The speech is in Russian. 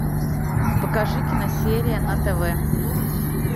покажи киносерия на тв